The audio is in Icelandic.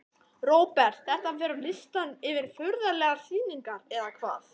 Róbert: Þetta fer á listann yfir furðulegar sýningar eða hvað?